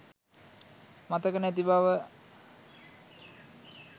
මතක නැති බව